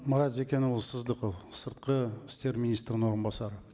марат зекенұлы сіздікі сыртқы істер министрінің орынбасары